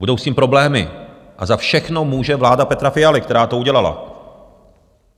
Budou s tím problémy a za všechno může vláda Petra Fialy, která to udělala.